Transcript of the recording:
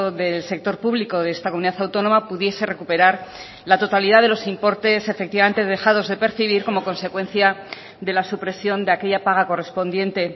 del sector público de esta comunidad autónoma pudiese recuperar la totalidad de los importes efectivamente dejados de percibir como consecuencia de la supresión de aquella paga correspondiente